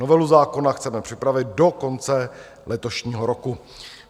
Novelu zákona chceme připravit do konce letošního roku.